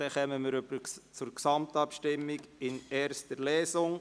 Somit kommen wir zur Gesamtabstimmung in erster Lesung.